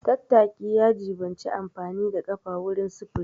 Tattaki ya jiɓanci amfani da ƙafa wurin sufuri.